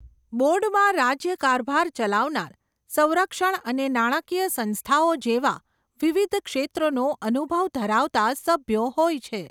બોર્ડમાં રાજ્ય કારભાર ચલાવનાર, સંરક્ષણ અને નાણાંકીય સંસ્થાઓ જેવા, વિવિધ ક્ષેત્રોનો અનુભવ ધરાવતાં સભ્યો હોય છે.